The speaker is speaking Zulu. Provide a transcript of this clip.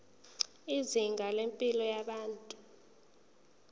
izinga lempilo yabantu